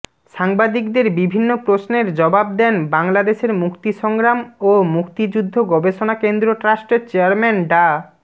সাংবাদিকদের বিভিন্ন প্রশ্নের জবাব দেন বাংলাদেশের মুক্তিসংগ্রাম ও মুক্তিযুদ্ধ গবেষণা কেন্দ্র ট্রাস্টের চেয়ারম্যান ডা